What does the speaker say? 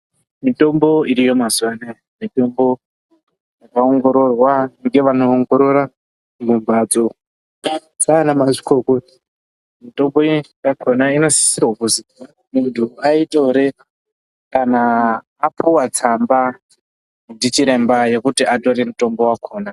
Mitombo iriyo mazuva anaya ,mitombo yakaongororwa ngevanoongorora mumbatso dzaanamazvikokota. Mitombo yakona inosisa kuzi muntu aitore apuwa tsamba nana chiremba kuti atore mutombo wakona.